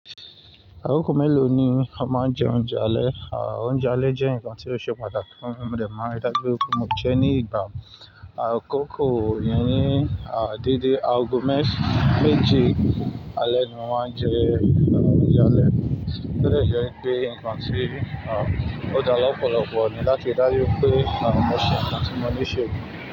Akoko mélòó ni o máa ń jẹ oúnjẹ alẹ́? Oúnjẹ alẹ́ jẹ́ nǹkan tí ó ṣe pàtàkì fún mi, mo dẹ máa ń ri dáju wipé mo jẹ ní ìgbà. Àkókò yẹn ní, a dedé, ago mesan mẹ́ẹ̀je alẹ́ ni mo n máa ń jẹ oúnjẹ alẹ́. O de je pé nǹkan tí ó dáa lọpọlọpọ ni láti ri daju pé mo ṣe nǹkan tí mo ní ṣe.